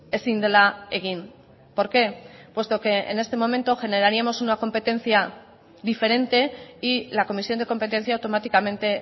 ezin dela egin por qué puesto que en este momento generaríamos una competencia diferente y la comisión de competencia automáticamente